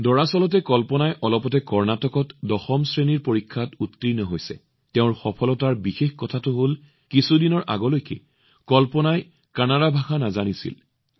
দৰাচলতে কল্পনাই অলপতে কৰ্ণাটকত দশম শ্ৰেণীৰ পৰীক্ষাত উত্তীৰ্ণ হৈছে কিন্তু তেওঁৰ সফলতাৰ আটাইতকৈ বিশেষ কথাটো হল কিছুদিন আগলৈকে কল্পনাই কানাড়া ভাষা নাজানিছিল